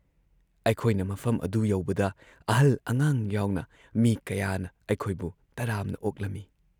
ꯑꯩꯈꯣꯏꯅ ꯃꯐꯝ ꯑꯗꯨ ꯌꯧꯕꯗ ꯑꯍꯜ ꯑꯉꯥꯡ ꯌꯥꯎꯅ ꯃꯤ ꯀꯌꯥꯅ ꯑꯩꯈꯣꯏꯕꯨ ꯇꯔꯥꯝꯅ ꯑꯣꯛꯂꯝꯏ ꯫